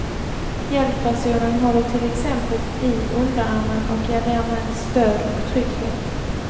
Hjälppersonen håller till exempel i underarmen och ger därmed stöd och trygghet.